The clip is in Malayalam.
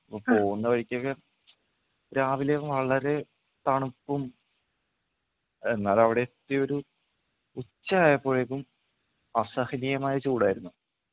അപ്പൊ പോകുന്ന വഴിക്കൊക്കെ രാവിലെ വളരെ തണുപ്പും എന്നാൽ അവിടെ എത്തിയൊരു ഉച്ച ആയപ്പോഴേക്കും അസഹനീയമായ ചൂടായിരുന്നു.